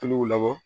Tuluw labɔ